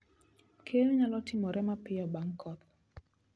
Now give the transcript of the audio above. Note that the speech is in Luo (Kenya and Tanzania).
Keyo nyalo timore mapiyo bang' koth